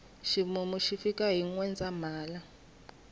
ximumu xi fika hi nwendzahala